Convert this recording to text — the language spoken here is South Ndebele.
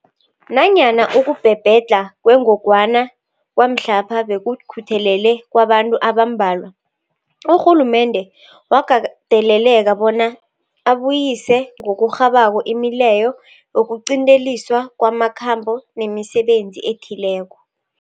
Nanyana ukubhebhedlha kwengogwana kwamhlapha bekukutheleleka kwabantu abambalwa, urhulumende wakateleleka bona abuyise ngokurhabako imileyo yokuqinteliswa kwamakhambo nemisebenzi ethileko.